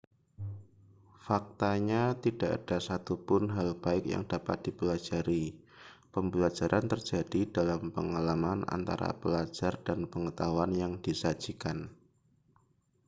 faktanya tidak ada satupun hal baik yang dapat dipelajari pembelajaran terjadi dalam pengalaman antara pelajar dan pengetahuan yang disajikan